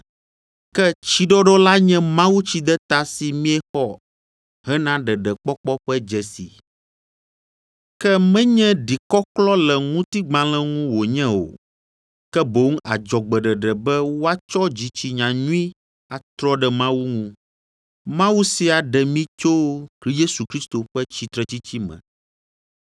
Ke tsiɖɔɖɔ la nye mawutsideta si miexɔ hena ɖeɖekpɔkpɔ ƒe dzesi, ke menye ɖikɔklɔ le ŋutigbalẽ ŋu wònye o, ke boŋ adzɔgbeɖeɖe be woatsɔ dzitsinya nyui atrɔ ɖe Mawu ŋu. Mawu sia ɖe mi to Yesu Kristo ƒe tsitretsitsi me,